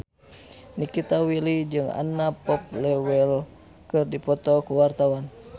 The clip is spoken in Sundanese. Nikita Willy jeung Anna Popplewell keur dipoto ku wartawan